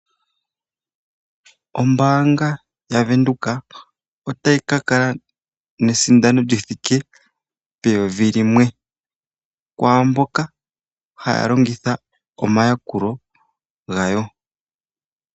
Ombanga yaVenduka otayi kakala nesindano lyithika N$1000 kwamboka haya lingitha omayakulo gayo.